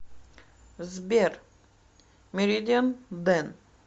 сбер меридиан дэн